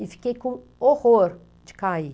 E fiquei com horror de cair.